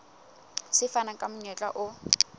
se fana ka monyetla o